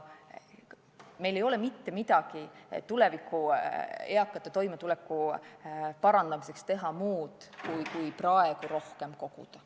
Meil ei ole tuleviku eakate toimetuleku parandamiseks teha mitte midagi muud kui praegu rohkem koguda.